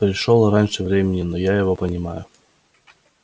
пришёл раньше времени но я его понимаю